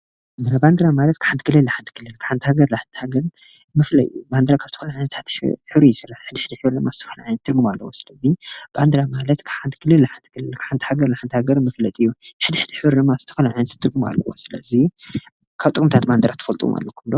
ባንዴራ ማለት ካብ ሓንቲ ክልል ናብ ሓንቲ ክልል ካብ ሓንቲ ሃገር ናብ ሓንቲ ሃገር መፍለይ እዩ፡፡ ባንዴራ ካብ ዝተፈላለየ ሕብሪ ይስራሕ ሕድሕድ ሕብሪ ድማ ትርጉም ኣለዎ ስለዚ ባንዴራ ማለት ካብ ሓንቲ ክልል ናብ ሓንቲ ክልል መግለፂ እዩ፡፡ ሕድሕድ ሕብሪ ድማ ዝተፈላለየ ትርጉም ኣለዎ፡፡ ስለዚ ካብ ጥቕምታት ባንዴራ ትፈልጥዎም ኣለውኹም ዶ?